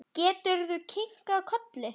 Gerður kinkaði kolli.